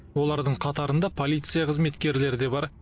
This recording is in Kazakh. олардың қатарында полиция қызметкерлері де бар